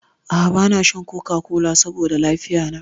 A'a bana shan coca-cola saboda lafiya na.